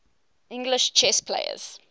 english chess players